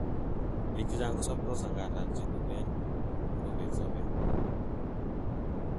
biik chechang kosobtos angandan chetuten kobete sobet